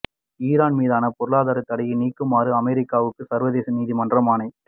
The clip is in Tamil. ஈரான் மீதான பொருளாதாரத் தடையை நீக்குமாறு அமெரிக்காவுக்கு சர்வதேச நீதிமன்றம் ஆணை